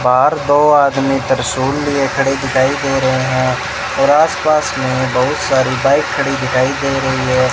बाहर दो आदमी त्रिशूल लिए खड़े दिखाई दे रहे है और आस पास में बहुत सारी बाइक खड़ी दिखाई दे रही है।